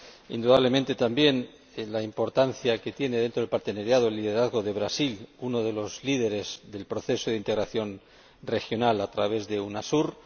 Indudablemente, también es importante, dentro de la asociación, el liderazgo de Brasil, uno de los líderes del proceso de integración regional a través de Unasur.